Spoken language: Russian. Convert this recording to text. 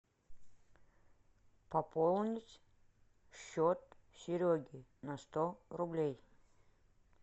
пополнить счет сереги на сто рублей